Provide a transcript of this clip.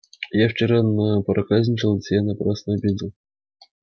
я вчера напроказничал а тебя напрасно обидел